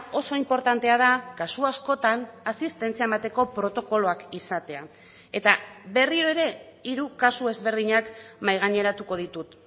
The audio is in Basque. oso inportantea da kasu askotan asistentzia emateko protokoloak izatea eta berriro ere hiru kasu ezberdinak mahai gaineratuko ditut